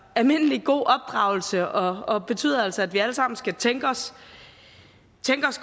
almindelig god opdragelse og og betyder altså at vi alle sammen skal tænke os